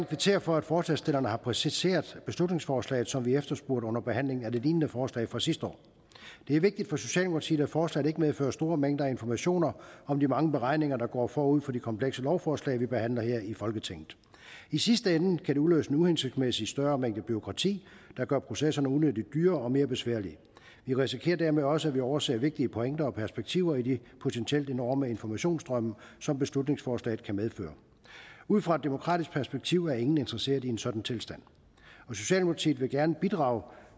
kvittere for at forslagsstillerne har præciseret beslutningsforslaget sådan som vi efterspurgte under behandlingen af det lignende forslag fra sidste år det er vigtigt for socialdemokratiet at forslaget ikke medfører store mængder af informationer om de mange beregninger der går forud for de komplekse lovforslag vi behandler her i folketinget i sidste ende kan det udløse en uhensigtsmæssig større mængde bureaukrati der gør processerne unødig dyre og mere besværlige vi risikerer dermed også at overse vigtige pointer og perspektiver i de potentielt enorme informationsstrømme som beslutningsforslaget kan medføre ud fra et demokratisk perspektiv er ingen interesserede i en sådan tilstand socialdemokratiet vil gerne bidrage